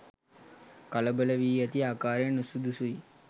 කලබල වී ඇති ආකාරය නුසුදුසුයි.